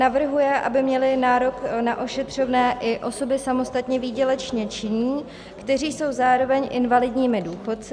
Navrhuje, aby měly nárok na ošetřovné i osoby samostatně výdělečně činné, které jsou zároveň invalidními důchodci.